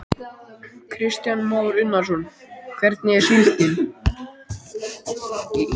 Kristján Már Unnarsson: Hvernig er síldin?